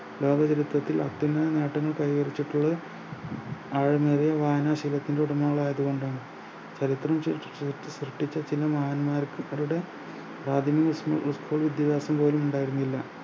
ലോകചരിത്രത്തിൽ അത്യന്തം നേട്ടങ്ങൾ കൈവരിച്ചിട്ടുള്ള ആഴമേറിയ വായനാശീലത്തിന്റെ ഉടമകൾ ആയതു കൊണ്ടാണ് ചരിത്രം സൃ സൃ സൃഷ്‌ടിച്ച ചില മഹാന്മാർക്ക് അവരുടെ പ്രാഥമിക സ് school വിദ്യാഭ്യാസം പോലും ഉണ്ടായിരുന്നില്ല